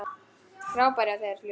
Frábært hjá þér, Júlía!